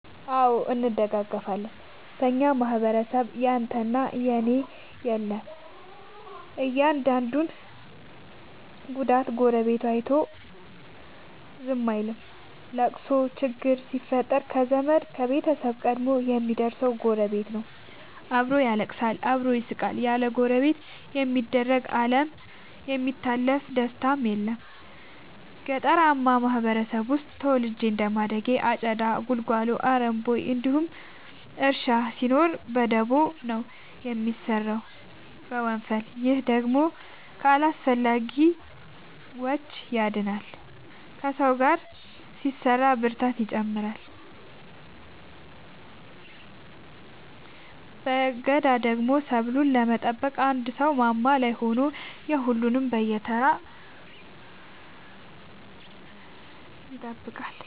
አዎ እንደጋገፋለን በኛ ማህበረሰብ ያንተ እና የኔ የለም የአንዱን ጉዳት ጎረቤቱ አይቶ ዝም አይልም። ለቅሶ ችግር ሲፈጠር ከዘመድ ከቤተሰብ ቀድሞ የሚደር ሰው ጎረቤት ነው። አብሮ ያለቅሳል አብሮ ይስቃል ያለ ጎረቤት የሚደምቅ አለም የሚታለፍ ደስታም የለም። ገጠርአማ ማህበረሰብ ውስጥ ተወልጄ እንደማደጌ አጨዳ ጉልጎሎ አረም ቦይ እንዲሁም እርሻ ሲኖር በደቦ ነው የሚሰራው በወንፈል። ይህ ደግሞ ከአላስፈላጊዎቺ ያድናል ከሰው ጋር ሲሰራ ብርታትን ይጨምራል። በገዳደሞ ሰብሉን ለመጠበቅ አንድ ሰው ማማ ላይ ሆኖ የሁሉም ይጠብቃል በየተራ።